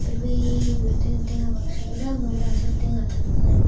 bel bel guri toyon tenga baxu deongey parang siyot tenga tonney.